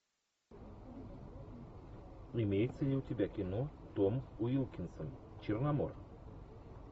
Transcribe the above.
имеется ли у тебя кино том уилкинсон черномор